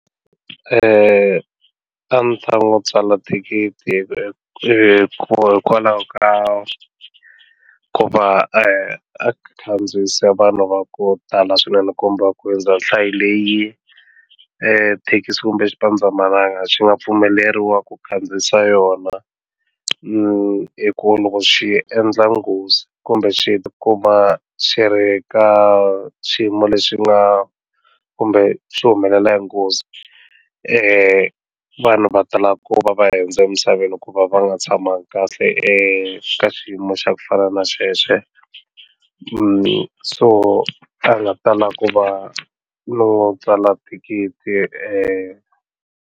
A ni ta n'wi tsala thikithi hikokwalaho ka ku va a khandziyise vanhu va ku tala swinene kumba a hundza nhlayo leyi thekisi kumbe xipandzamananga swi nga pfumeleriwa ku khandziyisa yona hi ku loko xi endla nghozi kumbe swi xi kuma xi ri ka xiyimo lexi nga kumbe swi humelela hi nghozi vanhu va tala ku va va hindza emisaveni ku va va nga tshamanga kahle ka xiyimo xa ku fana na xexo so a nga tala ku va no tsala thikithi.